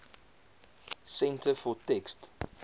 centre for text